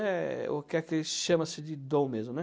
É o que eles chamam de dom mesmo, né.